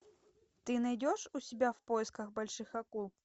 ты найдешь у себя в поисках больших акул